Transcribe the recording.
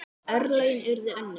En örlögin urðu önnur.